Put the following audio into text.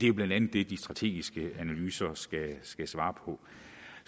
jo blandt andet det de strategiske analyser skal svare på